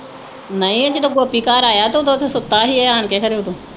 ਨਹੀਂ ਆ ਜਦੋਂ ਗੋਪੀ ਘਰ ਆਇਆ ਤੇ ਉਦੋਂ ਤੇ ਸੁੱਤਾ ਹੀ ਆਣ ਕੇ ਖਰੇ ਉਦੋਂ